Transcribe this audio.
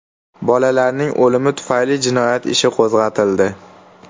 Bolalarning o‘limi tufayli jinoyat ishi qo‘zg‘atildi.